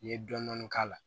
I ye dɔɔnin k'a la